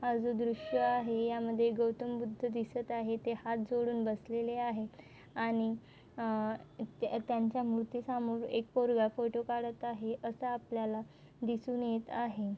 हा जो दृश्य आहे यामध्ये गौतम बुद्ध दिसत आहे ते हात जोडून बसलेले आहे आणि अह त्या त्यांच्या मूर्तीसमोर एक पोरगा फोटो काढत आहे असा आपल्याला दिसून येत आहे.